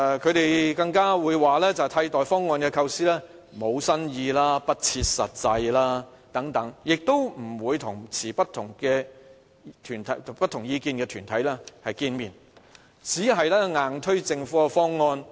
他們更說替代方案的構思無新意、不切實際等，亦不會與持不同意見的團體見面，只硬推政府的方案。